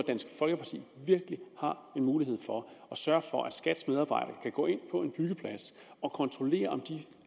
virkelig mulighed for at sørge for at skats medarbejdere kan gå ind på en byggeplads og kontrollere om de